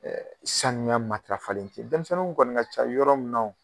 sanuya matarafalen tɛ dɛmisɛnninw kɔni ka ca yɔrɔ min na o